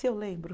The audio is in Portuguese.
Se eu lembro.